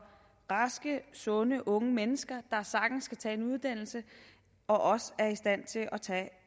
sunde unge mennesker der sagtens kan tage en uddannelse og også er i stand til at tage